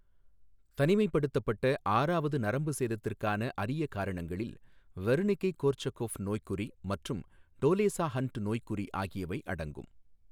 தனிமைப்படுத்தப்பட்ட ஆறாவது நரம்பு சேதத்திற்கான அரிய காரணங்களில் வெர்னிக்கி கோர்சகோஃப் நோய்க்குறி மற்றும் டோலோசா ஹன்ட் நோய்க்குறி ஆகியவை அடங்கும்.